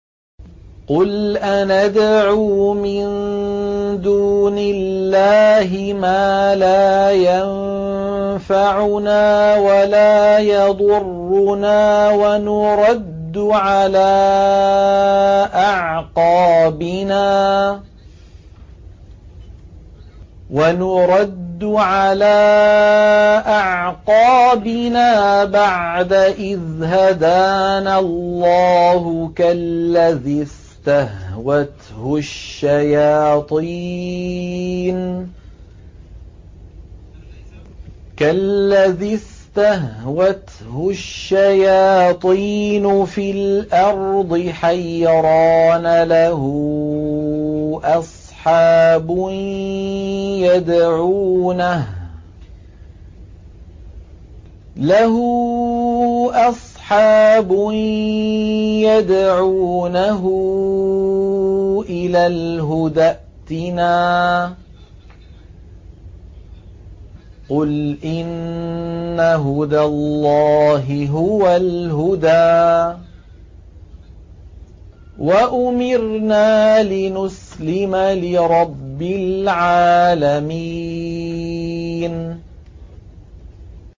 قُلْ أَنَدْعُو مِن دُونِ اللَّهِ مَا لَا يَنفَعُنَا وَلَا يَضُرُّنَا وَنُرَدُّ عَلَىٰ أَعْقَابِنَا بَعْدَ إِذْ هَدَانَا اللَّهُ كَالَّذِي اسْتَهْوَتْهُ الشَّيَاطِينُ فِي الْأَرْضِ حَيْرَانَ لَهُ أَصْحَابٌ يَدْعُونَهُ إِلَى الْهُدَى ائْتِنَا ۗ قُلْ إِنَّ هُدَى اللَّهِ هُوَ الْهُدَىٰ ۖ وَأُمِرْنَا لِنُسْلِمَ لِرَبِّ الْعَالَمِينَ